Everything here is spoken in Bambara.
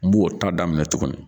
N b'o ta daminɛ minɛ tuguni